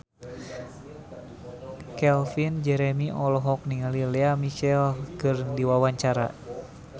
Calvin Jeremy olohok ningali Lea Michele keur diwawancara